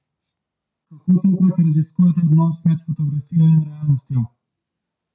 Kako tokrat raziskujete odnos med fotografijo in realnostjo?